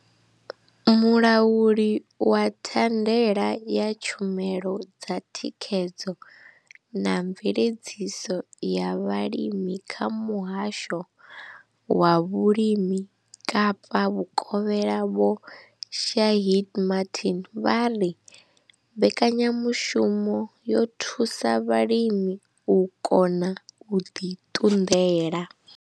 Mulauli wa thandela ya tshumelo dza thikhedzo na mveledziso ya vhulimi kha Muhasho wa Vhulimi Kapa Vhukovhela Vho Shaheed Martin vha ri mbekanya mushumo yo thusa vhalimi u kona u ḓi ṱunḓela.